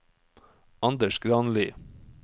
Anders Granli